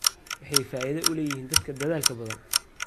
Waxay faa'iido u leeyihiin dadka dadaalka badan.